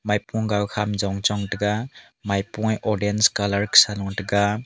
maipo gow kha jongchong tega maipo e odange colour khesa notega.